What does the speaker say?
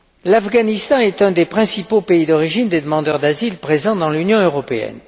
L'Afghanistan est un des principaux pays d'origine des demandeurs d'asile présents dans l'Union européenne.